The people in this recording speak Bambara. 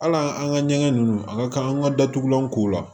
Hal'an ka ɲɛgɛn ninnu a ka kan an ka datugulanw k'o la